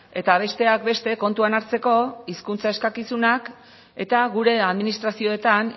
eta besteak beste kontuan hartzeko hizkuntza eskakizunak eta gure administrazioetan